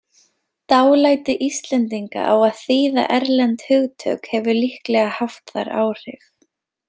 Dálæti Íslendinga á að þýða erlend hugtök hefur líklega haft þar áhrif.